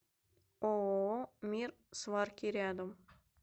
ооо мир сварки рядом